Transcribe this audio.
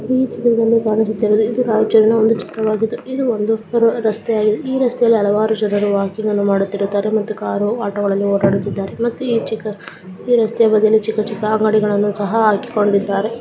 ಈ ಚಿತ್ರದಲ್ಲಿ ಕಾಣಿಸುತ್ತಿರುವುದು ಇದು ರಾಯಚೂರಿನ ಒಂದು ಚಿತ್ರವಾಗಿದ್ದು ಇಲ್ಲಿ ಒಂದು ಈ ರಸ್ತೆಯಲ್ಲಿ ಹಲವಾರು ಜನರು ವಾಕಿಂಗ್ ಅನ್ನು ಮಾಡುತ್ತಿರುತ್ತಾರೆ ಮತ್ತು ಕಾರು ಆಟೋಗಳಲ್ಲಿ ಓಡಾಡುತ್ತಿರುತ್ತಾರೆ ಮತ್ತು ಈ ಚಿಕ್ಕ ಈ ರಸ್ತೆಯ ಬದಿಯಲ್ಲಿ ಚಿಕ್ಕ ಚಿಕ್ಕ ಅಂಗಡಿಗಳನ್ನು ಸಹ ಹಾಕಿಕೊಂಡಿದ್ದಾರೆ.